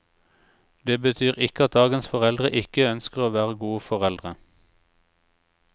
Det betyr ikke at dagens foreldre ikke ønsker å være gode foreldre.